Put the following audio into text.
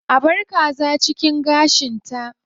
A bar kaza cikin gashinta.